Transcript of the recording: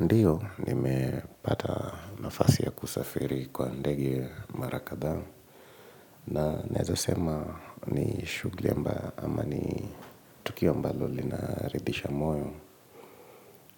Ndiyo, nimepata nafasi ya kusafiri kwa ndege mara kadhaa. Na naeza sema ni shughuli ambayo ama ni tukio ambalo linaridhisha moyo